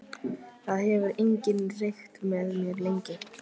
Það hefur enginn reykt með mér lengi.